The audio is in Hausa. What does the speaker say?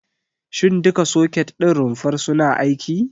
Shin duka soket ɗin rumfar suna aiki?